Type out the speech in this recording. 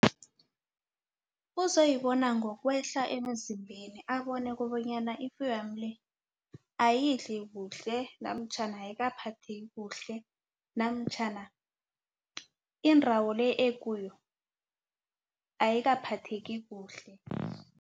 Uzoyibona ngokwehla emzimbeni abone kobanyana ifuyo yami le ayidli kuhle namtjhana ayikabaphathi kuhle namtjhana indawo le ekuyo ayikaphatheki kuhle.